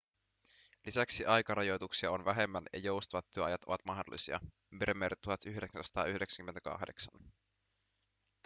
lisäksi aikarajoituksia on vähemmän ja joustavat työajat ovat mahdollisia bremer 1998